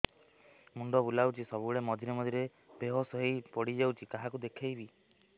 ମୁଣ୍ଡ ବୁଲାଉଛି ସବୁବେଳେ ମଝିରେ ମଝିରେ ବେହୋସ ହେଇ ପଡିଯାଉଛି କାହାକୁ ଦେଖେଇବି